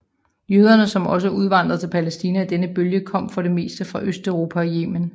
Jøderne som også udvandrede til Palæstina i denne bølge kom for det meste fra Østeuropa og Yemen